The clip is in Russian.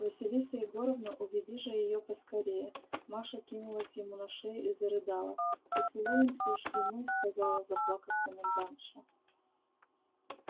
василиса егоровна уведи же её поскорее маша кинулась ему на шею и зарыдала поцелуемся ж и мы сказала заплакав комендантша